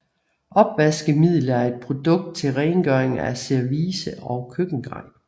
Opvaskemiddel er et produkt til rengøring af service og køkkengrej